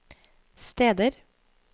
steder